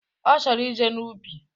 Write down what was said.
Ọ chọrọ ije n'ubi